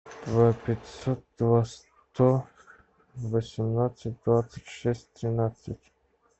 два пятьсот два сто восемнадцать двадцать шесть тринадцать